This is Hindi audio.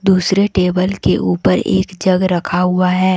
दूसरे टेबल के ऊपर एक जग रखा हुआ है।